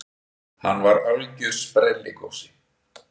Hann var algjör sprelligosi.